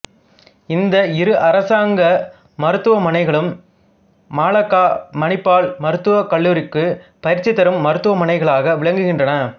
இந்த இரு அரசாங்க மருத்துவமனைகளும் மலாக்கா மணிப்பால் மருத்துவ கல்லூரிக்கு பயிற்சி தரும் மருத்துவமனைகளாக விளங்குகின்றன